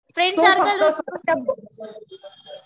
friend circle असू